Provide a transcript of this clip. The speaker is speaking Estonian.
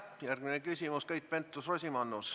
Järgmine küsimus, Keit Pentus-Rosimannus.